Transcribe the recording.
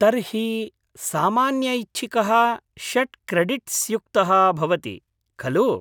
तर्हि सामान्यऐच्छिकः षट् क्रेडिट्स्युक्तः भवति, खलु?